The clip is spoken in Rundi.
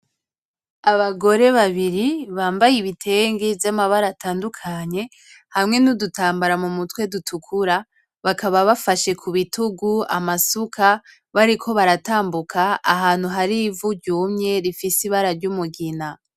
Abagore babiri bambaye ibitenge vy'amabara atandukanye hamwe n'udutambara mu mutwe dutukura, bakaba bafashe ku rutugu amasuka bariko baratambuka ahantu hari ivu ryumye rifise ibara ry'umugina.